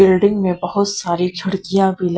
building में बहुत सारी खिड़कियां भी ल--